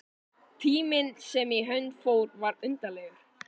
Tíminn sem í hönd fór var undarlegur.